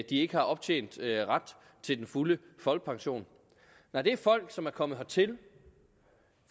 de ikke har optjent ret til den fulde folkepension nej det er folk som er kommet hertil